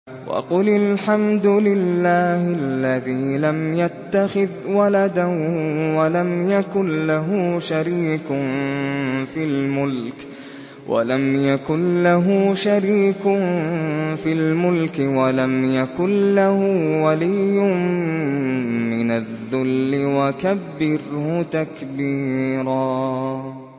وَقُلِ الْحَمْدُ لِلَّهِ الَّذِي لَمْ يَتَّخِذْ وَلَدًا وَلَمْ يَكُن لَّهُ شَرِيكٌ فِي الْمُلْكِ وَلَمْ يَكُن لَّهُ وَلِيٌّ مِّنَ الذُّلِّ ۖ وَكَبِّرْهُ تَكْبِيرًا